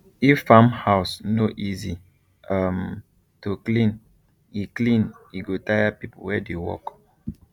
if farm house no easy um to clean e clean e go tire people wey dey work